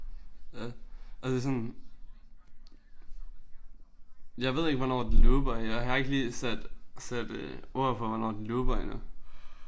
Ja altså sådan jeg ved ikke hvornår det looper jeg har ikke lige sat sat øh ord på hvornår den looper endnu